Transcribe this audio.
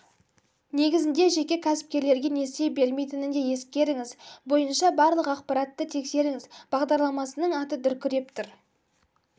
негізінде жеке кәсіпкерлерге несие бермейтінін де ескеріңіз бойынша барлық ақпаратты тексеріңіз бағдарламасының аты дүркіреп тұр